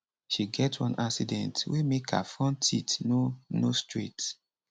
she get one accident wey make her front teeth no no straight